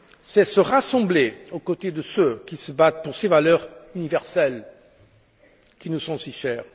C'est se rassembler aux côtés de ceux qui se battent pour ces valeurs universelles qui nous sont si chères.